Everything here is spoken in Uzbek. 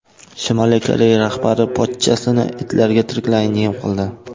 Shimoliy Koreya rahbari pochchasini itlarga tiriklayin yem qildi.